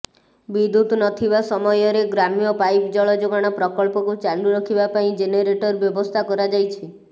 ବିଦ୍ୟୁତ୍ ନଥିବା ସମୟରେ ଗ୍ରାମ୍ୟ ପାଇପ୍ ଜଳ ଯୋଗାଣ ପ୍ରକଳ୍ପକୁ ଚାଲୁ ରଖିବା ପାଇଁ ଜେନେରେଟର ବ୍ୟବସ୍ଥା କରାଯାଇଛି